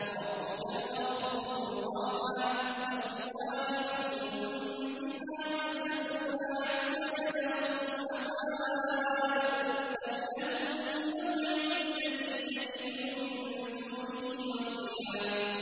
وَرَبُّكَ الْغَفُورُ ذُو الرَّحْمَةِ ۖ لَوْ يُؤَاخِذُهُم بِمَا كَسَبُوا لَعَجَّلَ لَهُمُ الْعَذَابَ ۚ بَل لَّهُم مَّوْعِدٌ لَّن يَجِدُوا مِن دُونِهِ مَوْئِلًا